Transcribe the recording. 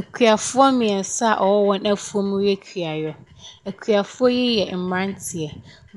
Akuafoɔ mmiɛnsa a ɔwɔ wɔn afuom ɛyɛ kuayɔ. Akuafoɔ yi yɛ mmranteɛ,